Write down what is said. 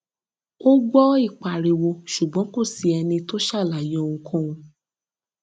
a gbọ ìpariwo ṣùgbọn kò sí ẹni tó ṣàlàyé ohunkóhun